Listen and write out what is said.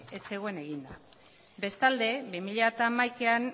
ez zegoen eginda bestalde bi mila hamaikako